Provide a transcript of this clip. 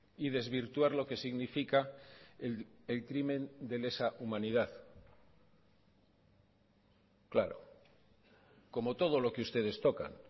y desvirtuar lo que significa el crimen de lesa humanidad claro como todo lo que ustedes tocan